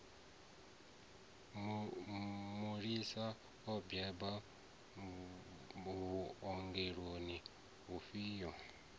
mulisa o bebwa vhuongeloni vhufhio